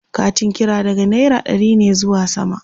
Katin kira daga naira ɗari ne zuwa sama